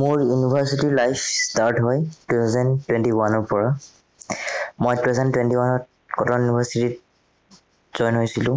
মোৰ university life start হয় two thousand twenty one ৰ পৰা মই two thousand twenty one ত কটন university ত join হৈছিলো